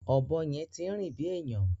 Ọ̀bọ yẹn ti ń rìn bí èèyàn.